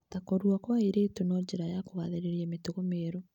ta kũrua kwa airĩtu na njĩra ya kũgathĩrĩria mĩtugo mĩerũ.